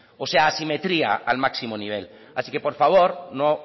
o sea asimetría al máximo nivel así que por favor no